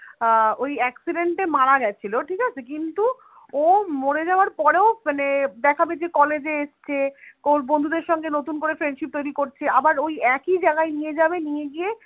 আহ ওই accident এ মারা গেছিল ঠিক আছে কিন্তু ও মড়ে যাবার পরেও মানে দেখাবে যে college এ এসেছে ওর বন্ধুদের সাথে নতুন করে friendship তৈরি করছে সেই আবার ওই একই জায়গায় নিয়ে যাবে নিয়ে গিয়ে